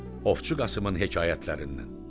Ovçu Qasımın hekayətlərindən.